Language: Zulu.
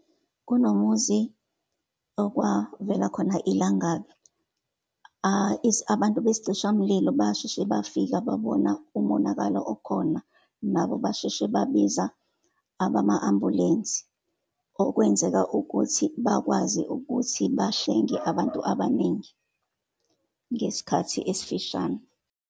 Kunomuzi okwavela khona ilangabi. Abantu besicishamlilo basheshe bafika, babona umonakalo okhona, nabo basheshe babiza abama-ambulensi, okwenzeka ukuthi bakwazi ukuthi bahlenge abantu abaningi, ngesikhathi esifishane.